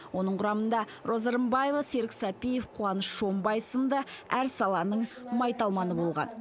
оның құрамында роза рымбаева серік сәпиев қуаныш шонбай сынды әр саланың майталманы болған